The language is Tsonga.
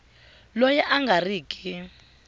loyi a nga ri ki